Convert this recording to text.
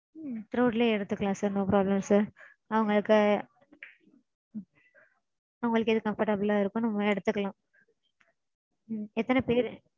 Throat லயே எடுத்துக்கலாம் sir no problem sir. அவங்களுக்கு உங்களுக்கு எது comfortable ஆ இருக்கோ நம்ம எடுத்துக்கலாம். எத்தன பேர்.